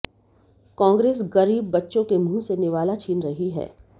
कांग्रेस गरीब बच्चों के मुंह से निवाला छीन रही है